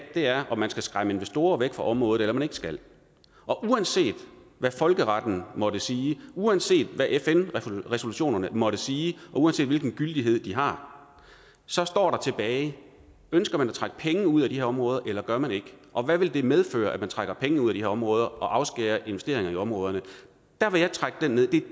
er om man skal skræmme investorerne væk fra området eller man ikke skal og uanset hvad folkeretten måtte sige uanset hvad fn resolutionerne måtte sige og uanset hvilken gyldighed de har så står der tilbage ønsker man at trække penge ud af de her områder eller gør man ikke og hvad vil det medføre at man trækker penge ud af de her områder og afskærer investeringer i områderne